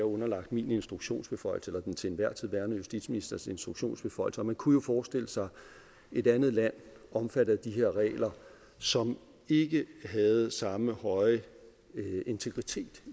underlagt min instruktionsbeføjelse eller den til enhver tid værende justitsministers instruktionsbeføjelse og man kunne jo forestille sig et andet land omfattet af de her regler som ikke havde samme høje integritet